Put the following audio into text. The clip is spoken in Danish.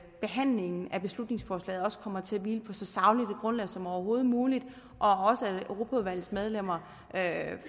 behandlingen af beslutningsforslaget også kommer til at hvile på så sagligt et grundlag som overhovedet muligt og også at europaudvalgets medlemmer